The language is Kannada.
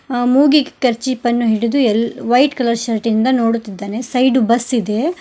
ಅ ಮೂಗಿಗೆ ಕರ್ಶಿಫನ್ನು ಹಿಡಿದು ಯಲ್ ವೈಟ್ ಕಲರ್ ಶರ್ಟ್ ಇಂದ ನೋಡುತ್ತಿದ್ದಾನೆ ಸೈಡು ಬಸ್ ಇದೆ.